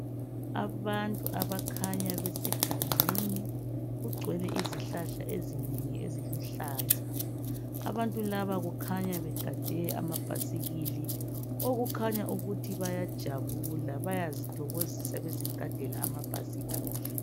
Abantu abakhanya besegangeni kugcwele izihlahla ezinengi eziluhlaza abantu laba kukhanya begade amabhasikili okukhanya ukuthi bayajabula bayazithokozisa bezigadela amabhasikili.